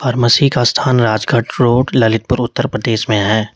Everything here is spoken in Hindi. फार्मसी का स्थान राजघाट रोड ललितपुर उत्तर प्रदेश में है।